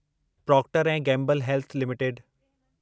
Procter ऐं Gamble health limited